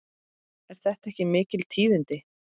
Eru þetta ekki mikil tíðindi?